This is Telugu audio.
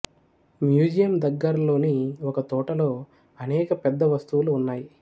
మ్యూజియం దగ్గరలోని ఒక తోటలో అనేక పెద్ద వస్తువులు ఉన్నాయి